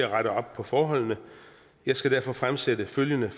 rette op på forholdene jeg skal derfor fremsætte følgende